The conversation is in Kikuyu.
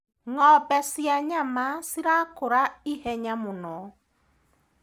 Ngombe cia nyama cirakũra ihenya mũno.